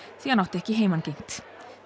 því hann átti ekki heimangengt